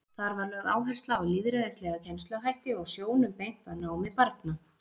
Þar var lögð áhersla á lýðræðislega kennsluhætti og sjónum beint að námi barna.